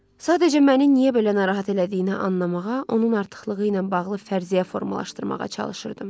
Sadəcə məni niyə belə narahat elədiyini anlamağa, onun artıqlığı ilə bağlı fərziyyə formalaşdırmağa çalışırdım.